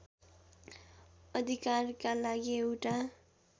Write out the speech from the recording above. अधिकारका लागि एउटा